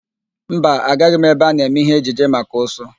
Mba, agaghị m ebe a na-eme ihe ejije maka ụsụ.